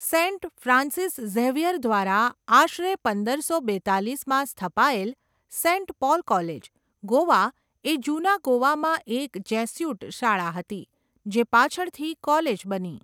Saint Francis Xavier દ્વારા આશરે પંદરસો બેત્તાલીસમાં સ્થપાયેલ, સેન્ટ પોલ કોલેજ, ગોવા એ જૂના ગોવામાં એક જેસ્યુટ શાળા હતી, જે પાછળથી કોલેજ બની.